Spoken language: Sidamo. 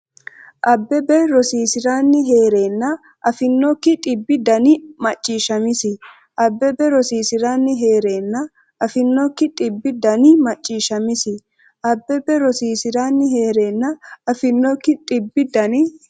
Abbebe rosiisi’ranni hee’reenna afinokki dhibbi dani macciishshamisi Abbebe rosiisi’ranni hee’reenna afinokki dhibbi dani macciishshamisi Abbebe rosiisi’ranni hee’reenna afinokki dhibbi dani.